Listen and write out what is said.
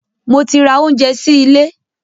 Mo ti ra oúnjẹ sí ilé.